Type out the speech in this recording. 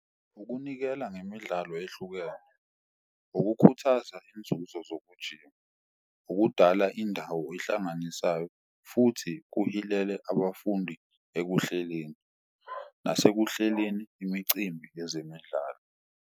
Ukunikela ngemidlalo ehlukene, ukukhuthaza inzuzo zokujima, ukudala indawo ehlanganisayo futhi kuhilele abafundi ekuhleleni nasekuhleleni imicimbi yezemidlalo.